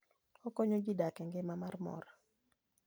Okonyo ji dak e ngima mar mor.